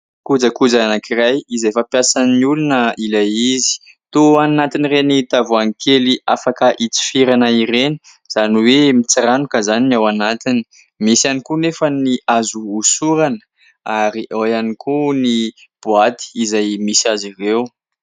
Kojakoja anankiray izay fampiasan'ny olona ilay izy, toa anatin'ireny tavoahangy kely afaka hitsifirana ireny izany hoe mitsiranoka izany ny ao anatiny, misy ihany koa anefa ny azo osorana ary ao ihany koa ny boaty izay misy azy ireo.